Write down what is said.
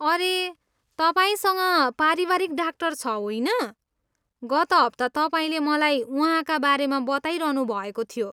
अरे, तपाईँसँग पारिवारिक डाक्टर छ, होइन? गत हप्ता तपाईँले मलाई उहाँका बारेमा बताइरहनुभएको थियो।